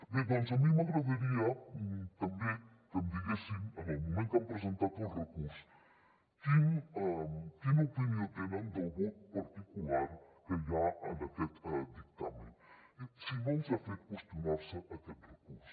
bé doncs a mi m’agradaria també que em diguessin en el moment que han presentat el recurs quina opinió tenen del vot particular que hi ha en aquest dictamen si no els ha fet qüestionar se aquest recurs